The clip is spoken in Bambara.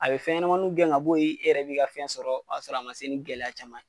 A bɛ fɛn yɛnɛmaniw gɛn ŋa bo ye, i yɛrɛ b'i ka fɛn sɔrɔ o y'a sɔrɔ a ma se ni gɛlɛya caman ye.